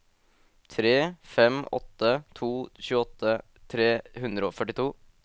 tre fem åtte to tjueåtte tre hundre og førtito